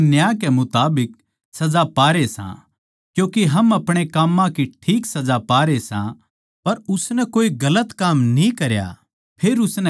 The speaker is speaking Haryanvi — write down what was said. हम तो न्याय के मुताबिक सजा पारे सां क्यूँके हम अपणे काम्मां की ठीक सजा पारे सां पर उसनै कोए गलत काम न्ही करया